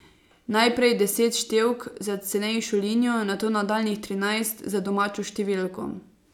Najprej deset števk za cenejšo linijo, nato nadaljnjih trinajst za domačo številko.